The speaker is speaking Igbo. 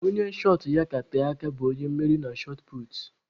Onye shọt ya ka tee aka bụ onye mmeri na shọt puutu.